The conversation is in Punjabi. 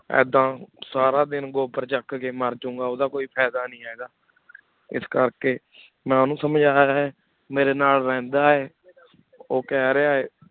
ਇਦਾਂ ਸਾਰਾ ਦਿਨ ਗੋਬਰ ਚਕ ਕੀ ਮਾਰ ਜੋ ਗਾ ਓਦਾ ਕੋਈ ਫਾਇਦਾ ਨਹੀ ਹੇਗਾ ਇਸ ਕਰ ਕੀ ਮੈ ਓਹਨੁ ਸਮਝਾਯਾ ਹੀ ਮੇਰੇ ਨਾਲ ਰਹੰਦਾ ਆਯ ਓਹ ਕਹ ਰਯ ਹੈ